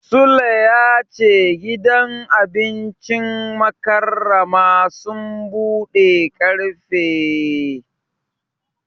Sule ya ce gidan wajen abincin Mukarramah Suns budewa karfe takwas na safe su rufe karfe goma na dare.